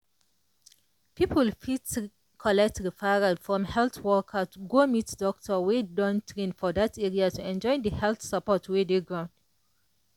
people fiti collect referral from health worker to go meet doctor wey don train for that area to enjoy the health support wey dey ground.